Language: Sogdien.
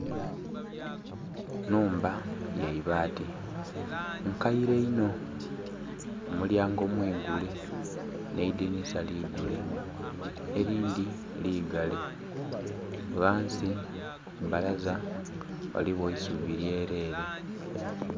Nhumba yeibaati nkeire inho omulyango mwiigule nh'eidhinisa ligule erindhi liigale ghansi kubbalaza ghaligho eisubi lyerere.